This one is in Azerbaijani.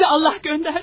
Sizi Allah gönderdi.